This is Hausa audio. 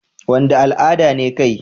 Wanda al'ada ne kai?